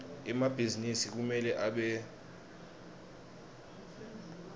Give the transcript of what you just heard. emabhizinisi kumele abe semtsetfweni